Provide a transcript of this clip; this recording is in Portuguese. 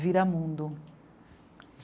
Viramundo.